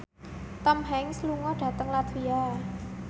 Tom Hanks lunga dhateng latvia